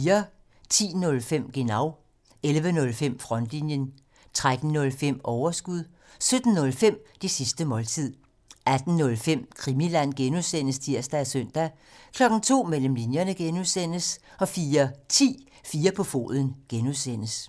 10:05: Genau 11:05: Frontlinjen 13:05: Overskud 17:05: Det sidste måltid 18:05: Krimiland (G) (tir og søn) 02:00: Mellem linjerne (G) 04:10: 4 på foden (G)